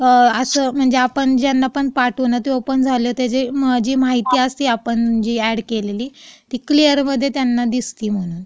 अं, असं म्हणजे.. आपण ज्यांना पण पाठवू ना, त्यांना ते ओपन झालं, म्हणजे त्याच्यात जी माहिती असते, जे आपण अॅड केलेली, ती क्लिअरमध्ये त्यांना दिसती मग.